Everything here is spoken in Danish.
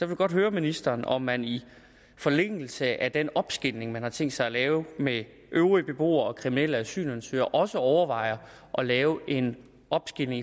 vil godt høre ministeren om man i forlængelse af den opsplitning man har tænkt sig at lave med øvrige beboere og kriminelle asylansøgere også overvejer at lave en opsplitning